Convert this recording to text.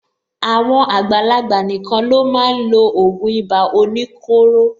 Àwọn àgbàlagbà nìkan ló máa n lo ògùn ibà oníkóro.